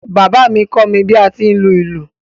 Bàbá mi ni o kọ́ mi bi a ti ń lu ìlú.